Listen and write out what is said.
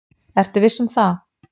Ertu viss um það?